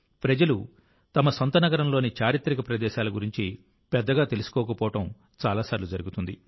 ప్రజలు తమ సొంత నగరంలోని చారిత్రక ప్రదేశాల గురించి పెద్దగా తెలుసుకోకపోవడం చాలా సార్లు జరుగుతుంది